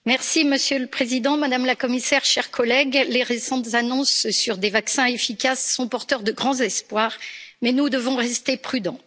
Monsieur le Président, Madame la Commissaire, chers collègues, les récentes annonces sur des vaccins efficaces sont porteuses de grands espoirs, mais nous devons rester prudents.